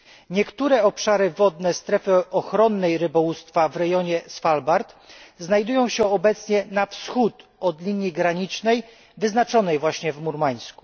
Niektóre obszary wodne strefy ochronnej rybołówstwa w rejonie Svalbard znajdują się obecnie na wschód od linii granicznej wyznaczonej właśnie w Murmańsku.